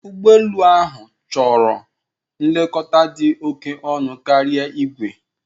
Ụgbọ elu ahụ chọrọ nlekọta dị oke ọnụ karia igwe.